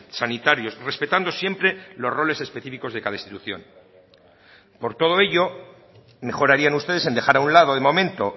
sanitarios respetando siempre los roles específicos de cada institución por todo ello mejor harían ustedes en dejar a un lado de momento